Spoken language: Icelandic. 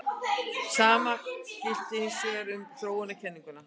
Sama gilti hins vegar ekki um þróunarkenninguna.